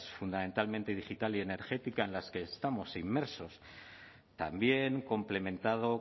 fundamentalmente digital y energética en las que estamos inmersos también complementado